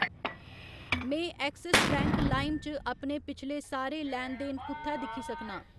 में Axis Bank लाइम च अपने पिछले सारे लैन देन कु'त्थै दिक्खी सकनां ?